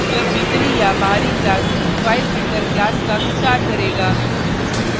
यह भीतरी या बाहरी class filefilter class का विस्तार करेगा